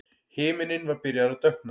Himinninn var byrjaður að dökkna.